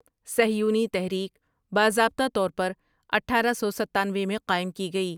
صیہونی تحریک باضابطہ طور پر اٹھارہ سو ستانوے میں قائم کی گئی ۔